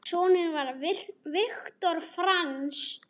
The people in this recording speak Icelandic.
Sonur Viktor Franz.